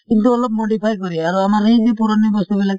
কিন্তু অলপ modify কৰি। আৰু আমাৰ সেই যে পুৰণি বস্তু বিলাক